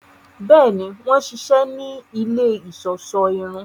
Bẹẹni, wọn ṣiṣẹ ni ilé iṣọṣọ irun